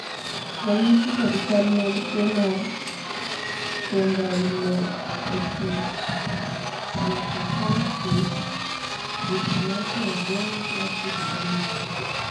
ranyisi kod chal mag tuo mar Spondyloepimetaphyseal dysplasia joint laxity gin mage?